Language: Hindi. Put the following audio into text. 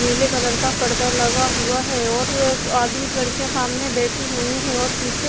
नीले कलर का पर्दा लगा हुआ है और एक आधी लड़कियां सामने बैठी हुई है और पीछे--